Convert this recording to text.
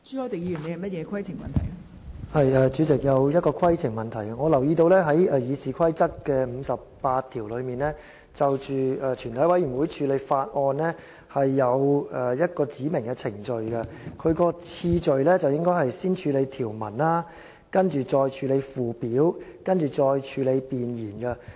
代理主席，我想提出規程問題，因為我留意到《議事規則》第58條就全體委員會處理法案訂明程序，當中的次序應該是先處理條文，然後處理附表，接着是處理弁言。